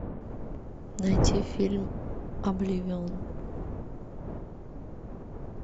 найти фильм обливион